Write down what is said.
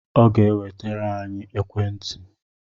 Ọ ga-enwetere anyị ekwentị